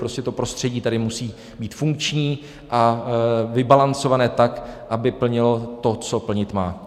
Prostě to prostředí tady musí být funkční a vybalancované tak, aby plnilo to, co plnit má.